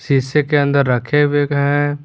शीशे के अंदर रखे हुए हैं।